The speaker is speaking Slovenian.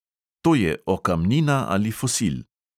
To je okamnina ali fosil.